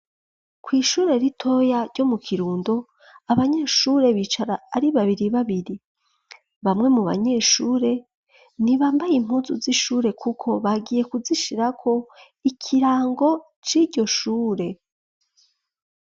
Kw' Ishure ritoya ryo mu kirundo, Abanyeshure bicara ari babiri babiri, bamwe mu banyeshure ntibambaye impunzu z'ishure, kuko bagiye kuzishirako ikirango c'iryoshure.